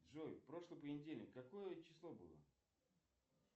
джой прошлый понедельник какое число было